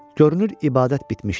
Görünür ibadət bitmişdi.